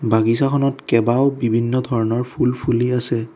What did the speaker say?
বাগিছাখনত কেবাও বিভিন্ন ধৰণৰ ফুল ফুলি আছে।